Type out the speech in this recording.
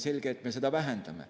Selge, et me seda vähendame.